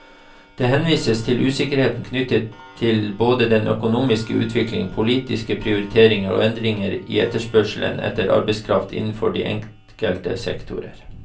Det henvises til usikkerhet knyttet til både den økonomiske utvikling, politiske prioriteringer og endringer i etterspørsel etter arbeidskraft innenfor de enkelte sektorer.